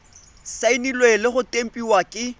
saenilwe le go tempiwa ke